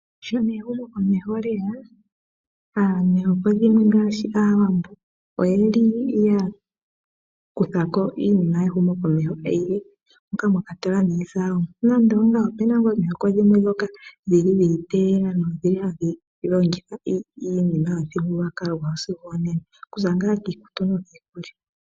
Sho ehumokomeho lyeya omihoko dhimwe ngaashi Aawambo pyeli ya kuthako iinima yehumokomeho yilwe, onga mwa kwatelwa niizalomwa. Nando ongawo opuna omihoko dhoka dhili dha iteela nodhili hadhi longitha iinima yomithigululwakalo dhawo sigo onena, okuza ngaa kiikutu nokiikulya.